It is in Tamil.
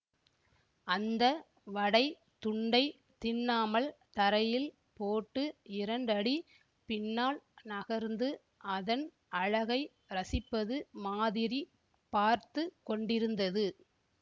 அந்த வடைத் துண்டைத் தின்னாமல் தரையில் போட்டு இரண்டடி பின்னால் நகர்ந்து அதன் அழகை ரசிப்பது மாதிரி பார்த்து கொண்டிருந்தது